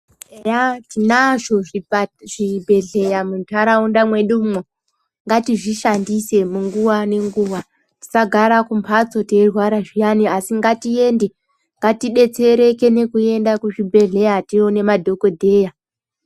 Eya tinazvo zvipa, zvibhedhleya muntaraunda mwedumwo, ngatizvishandise munguwa ngenguwa. Tisagara kumbatso teyirwara zviyani, asi ngatiende, ngatibetsereke nekuenda kuzvibhedhlera tione madhokodheya.